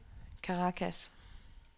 Caracas